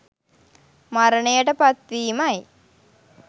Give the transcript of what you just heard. මරණයට පත්වීමයි.